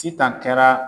Sitan kɛra